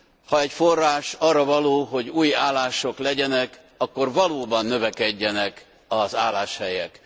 Ha egy forrás arra való, hogy új állások legyenek, akkor valóban növekedjenek az álláshelyek.